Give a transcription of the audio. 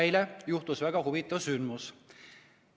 Eile juhtus väga huvitav sündmus.